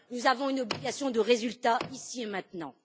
Nous avons une obligation de résultat ici et maintenant.